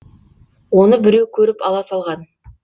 оны біреу көріп ала салған